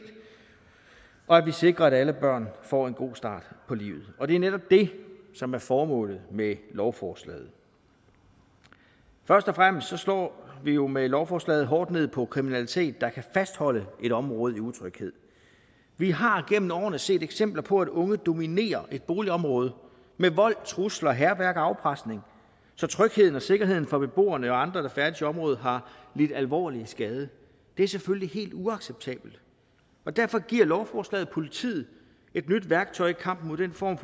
og at vi sikrer at alle børn får en god start på livet og det er netop det som er formålet med lovforslaget først og fremmest slår vi jo med lovforslaget hårdt ned på kriminalitet der kan fastholde et område i utryghed vi har gennem årene set eksempler på at unge dominerer et boligområde med vold trusler hærværk og afpresning så trygheden og sikkerheden for beboerne og andre der færdes i området har lidt alvorlig skade det er selvfølgelig helt uacceptabelt og derfor giver lovforslaget politiet et nyt værktøj i kampen mod den form